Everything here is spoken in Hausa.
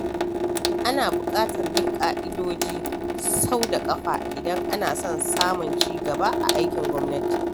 Ana buƙatar bin ƙa'idoji sau da ƙafa idan ana son samun ci gaba a aikin gwamnati.